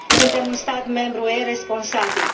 Suntem un stat membru UE responsabil.